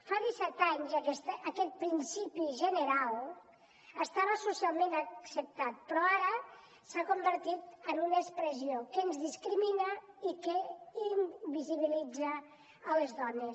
fa disset anys aquest principi general estava socialment acceptat però ara s’ha convertit en una expressió que ens discrimina i que invisibilitza les dones